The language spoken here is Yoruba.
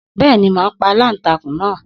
Bẹ́ẹ̀ni, màá pa aláǹtakùn náà.